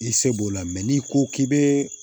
I se b'o la n'i ko k'i bɛ